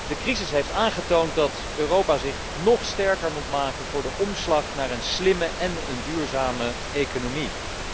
De crisis heeft aangetoond dat Europa zich nog sterker moet maken voor een omslag naar een slimme en een duurzame economie.